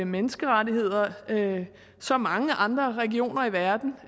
menneskerettigheder som mange andre regioner i verden